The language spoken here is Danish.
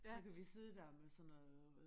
Så kan vi sidde der med sådan noget